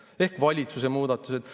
Need on siis valitsuse muudatused.